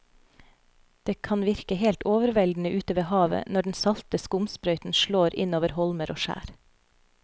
Det kan virke helt overveldende ute ved havet når den salte skumsprøyten slår innover holmer og skjær.